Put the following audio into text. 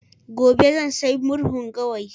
gobe zan sayi murhun gawayi